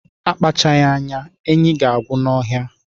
Akpachaghi anya, enyi ga-agwụ n'ọhịa